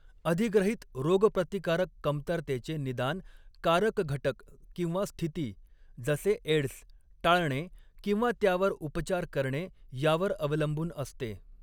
अधिग्रहित रोगप्रतिकारक कमतरतेचे निदान कारक घटक किंवा स्थिती जसे एड्स टाळणे किंवा त्यावर उपचार करणे यावर अवलंबून असते.